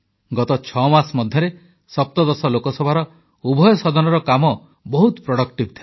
ଗତ ଛଅମାସ ମଧ୍ୟରେ ସପ୍ତଦଶ ଲୋକସଭାର ଉଭୟ ସଦନର କାମ ବହୁତ ଗଠନମୂଳକ ଥିଲା